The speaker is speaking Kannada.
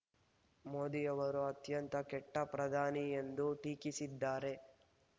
ಮೋದಿಯವರು ಅತ್ಯಂತ ಕೆಟ್ಟ ಪ್ರಧಾನಿ ಎಂದು ಟೀಕಿಸಿದ್ದಾರೆ